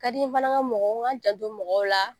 Ka di n ye fana n ka mɔgɔw, n ka n janto mɔgɔw la